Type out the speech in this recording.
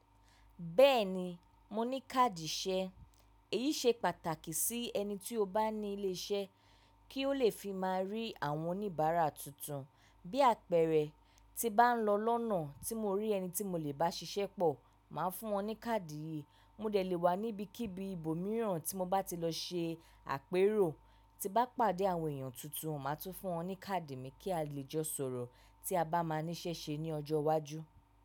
Bẹ́ẹ̀ni, mo ní káàdì iṣẹ́. Èyí ṣe pàtàkì sí ẹni tí ó bá ní ilé iṣẹ́ kí ó lè fi má rí àwọn oníbàárà tuntun. Bí àpẹ̀rẹ̀ ti bá ń lọ lọ́nà tí mo rí ẹni tí mo lè bá ṣiṣẹ́ pọ̀, màá fún wọn ní káàdì yìí. Mó dẹ̀ lé wà níbí kíbi ibòmíràn tí mo bá ti lọ ṣe àpérò, tí bá pàdé àwọn èèyàn tuntun, màá tún fún wọn ní káàdì mi kí a lè jọ sọ̀rọ̀ tí a bá máa ní ṣẹ́ṣe ní ọjọ́ iwájú.